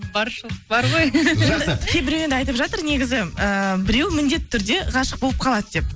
баршылық бар ғой жақсы кейбіреу енді айтып жатыр негізі ыыы біреуі міндетті түрде ғашық болып қалады деп